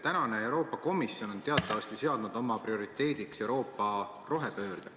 Tänane Euroopa Komisjon on teatavasti seadnud oma prioriteediks Euroopa rohepöörde.